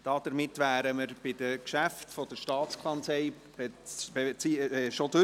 Damit sind wir mit den Geschäften der STA durch.